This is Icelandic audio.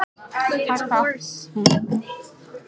ÞÓRBERGUR: Ég meinti það ekki þannig.